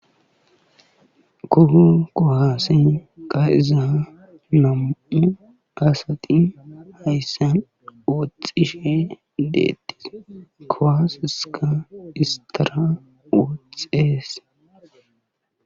Toho kuwase kaa;iza nam'u asati hayssan woxxishe deetees. Kuwaseskka istara woxees.